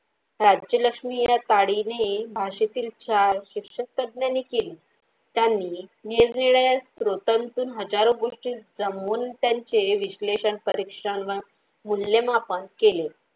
राज्यलक्ष्मी या ताडी भाषेतील चार शिक्षकतज्ज्ञांनी केली त्यांनी निरनिराळ्या स्त्रोतांचे हजारों गोष्टी जमवून त्यांचे विश्लेषण परीक्षण मूल्यमापन मापन केले.